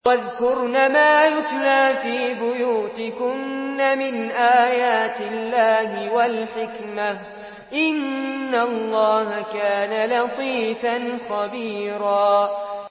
وَاذْكُرْنَ مَا يُتْلَىٰ فِي بُيُوتِكُنَّ مِنْ آيَاتِ اللَّهِ وَالْحِكْمَةِ ۚ إِنَّ اللَّهَ كَانَ لَطِيفًا خَبِيرًا